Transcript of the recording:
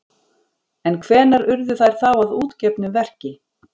En hvenær urðu þær þá að útgefnu verki?